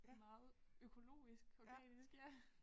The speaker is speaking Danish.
Meget økologisk organisk ja